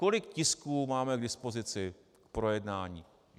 Kolik tisků máme k dispozici k projednání?